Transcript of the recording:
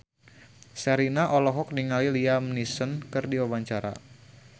Sherina olohok ningali Liam Neeson keur diwawancara